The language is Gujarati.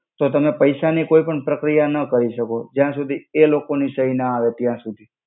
તો તમે પૈસા ની કોઇ પણ પ્રક્રિયા ના કરી સકો જ્યા સુધિ એ લોકો નો સઇ ના આવે ત્યા સુધિ